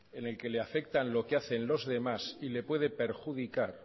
en el que le afecta lo que hacen los demás y le puede perjudicar